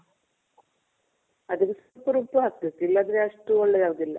ಅದಕ್ ರುಬ್ ಹಾಕ್ಬೇಕು. ಇಲ್ಲ ಅಂದ್ರೆ ಅಷ್ಟು ಒಳ್ಳೇದು ಆಗೋದಿಲ್ಲ.